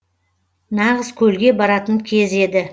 нағыз көлге баратын кез еді